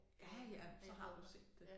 Ja ja så har du set det